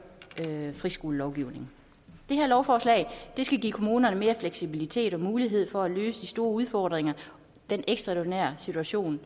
friskolelovgivningen det her lovforslag skal give kommunerne mere fleksibilitet og mulighed for at løse de store udfordringer i den ekstraordinære situation